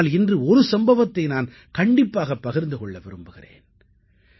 ஆனால் இன்று ஒரு சம்பவத்தை நான் கண்டிப்பாகப் பகிர்ந்து கொள்ள விரும்புகிறேன்